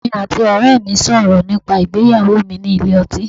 Èmi àti ọ̀rẹ́ẹ mi sọ̀rọ̀ nípa ìgbéyàwó mi nílé ọtín.